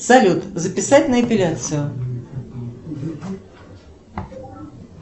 салют записать на эпиляцию